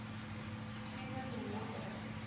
achievement award winners